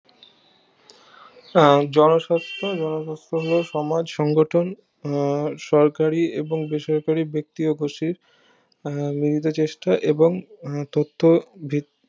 আহ জনস্বার্থ জনস্বার্থ হলো সমাজ সংগঠন আহ সরকারি এবং বেসরকারি ব্যক্তি উপসির আহ মিলিত চেষ্টা এবং তত্ত্ব ভৃত্তি